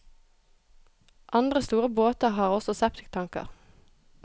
Andre store båter har også septiktanker.